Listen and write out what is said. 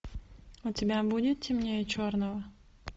у тебя будет темнее черного